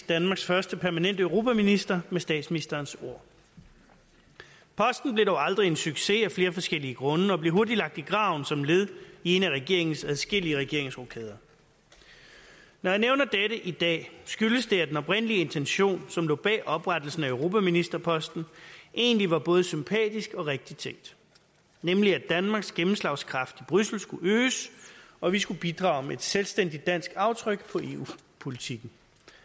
danmarks første permanente europaminister med statsministerens ord posten blev dog aldrig en succes af flere forskellige grunde og blev hurtigt lagt i graven som led i en af regeringens adskillige regeringsrokader når jeg nævner dette i dag skyldes det at den oprindelige intention som lå bag oprettelsen af europaministerposten egentlig var både sympatisk og rigtigt tænkt nemlig at danmarks gennemslagskraft i bruxelles skulle øges og vi skulle bidrage med et selvstændigt dansk aftryk på eu politikken